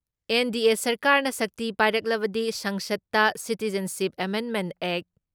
NDA ꯁꯔꯀꯥꯔꯅ ꯁꯛꯇꯤ ꯄꯥꯏꯔꯛꯂꯕꯗꯤ ꯁꯪꯁꯠꯇ ꯁꯤꯇꯤꯖꯟꯁꯤꯞ ꯑꯦꯃꯦꯟꯃꯦꯟ ꯑꯦꯛ